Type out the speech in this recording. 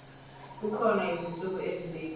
kukhona izinsuku ezibekiwe